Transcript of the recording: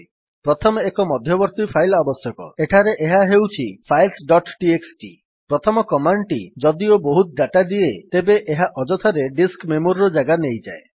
ପ୍ରଥମେ ଏକ ମଧ୍ୟବର୍ତ୍ତୀ ଫାଇଲ୍ ଆବଶ୍ୟକ ଏଠାରେ ଏହା ହେଉଛି ଫାଇଲ୍ସ ଡଟ୍ ଟିଏକ୍ସଟି ପ୍ରଥମ କମାଣ୍ଡ୍ ଟି ଯଦିଓ ବହୁତ ଡାଟା ଦିଏ ତେବେ ଏହା ଅଯଥାରେ ଡିସ୍କ ମେମୋରିର ଜାଗା ନେଇଯାଏ